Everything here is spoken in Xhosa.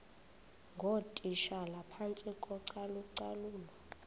ngootitshala phantsi kocalucalulo